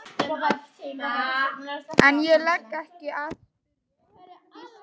En ég legg ekki í að spyrja.